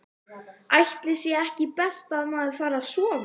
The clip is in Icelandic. Ætli sé ekki best að maður fari að sofa.